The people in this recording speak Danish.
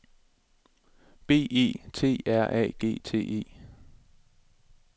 B E T R A G T E